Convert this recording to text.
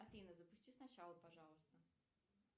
афина запусти сначала пожалуйста